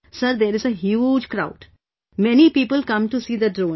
Sir, there is a huge crowd... many people come to see the drone